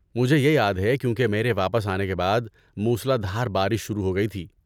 مجھے یہ یاد ہے کیونکہ میرے واپس آنے کے بعد موسلا دھار بارش شروع ہو گئی تھی۔